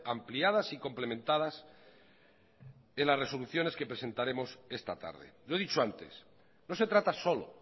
ampliadas y complementadas en las resoluciones que presentaremos esta tarde lo he dicho antes no se trata solo